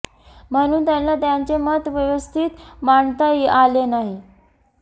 म्हणून त्यांना त्यांचे मत व्यवस्थित मांडता आले नाही